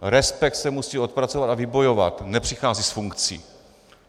Respekt se musí odpracovat a vybojovat, nepřichází s funkcí.